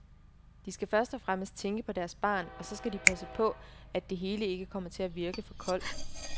De skal først og fremmest tænke på deres barn, og så skal de passe på at det hele ikke kommer til at virke for koldt.